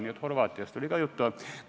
Nii et Horvaatiast oli ka juttu.